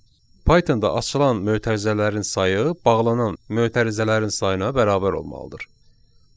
Pythonda açılan mötərizələrin sayı bağlanan mötərizələrin sayına bərabər olmalıdır.